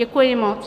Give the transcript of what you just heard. Děkuji moc.